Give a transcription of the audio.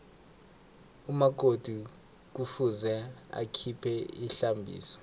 umakoti kufuze akhiphe ihlambiso